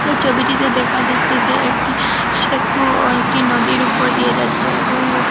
এই ছবিটিতে দেখা যাচ্ছে যে একটি সেতুও একটি নদীর ওপর দিয়ে যাচ্ছে এবং ওপ--